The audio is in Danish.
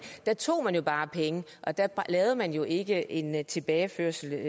tog man bare penge der lavede man jo ikke en tilbageførsel